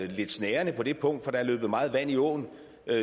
var lidt snærende på det punkt for der er løbet meget vand i åen